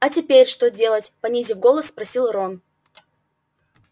а теперь что делать понизив голос спросил рон